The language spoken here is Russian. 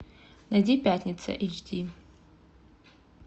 найди пятница эйч ди